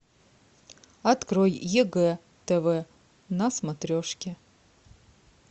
открой егэ тв на смотрешке